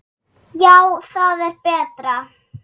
Já, það er betra.